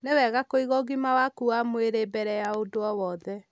Nĩ wega kũiga ũgima waku wa mwĩrĩ mbere ya ũndũ o wothe